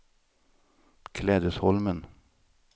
Klädesholmen